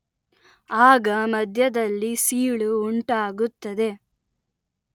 ಆಗ ಮಧ್ಯದಲ್ಲಿ ಸೀಳು ಉಂಟಾಗುತ್ತದೆ